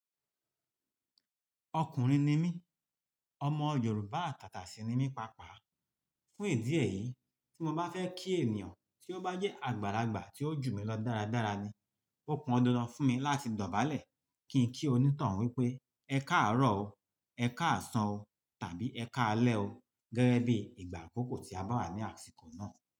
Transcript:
Ọkùnrin ni mí, ọmọ Yorùbá àtàtà si ni mí pàápàá. Fún ìdí èyí, tí mo bá fẹ́ kí ènìyàn tí ó bá jẹ́ àgbàlagbà tí ó jù mí lọ dáradára ni, ó pọn dandan fún mi láti dọ̀bálẹ̀ kí n kí oní tọun wí pé "Ẹ káàárọ̀ o", "Ẹ káàsán o" tàbí "Ẹ káalẹ́ o" gẹ́gẹ́ bí ìgbà àkókò tí a bá wà ní àsìkò náà.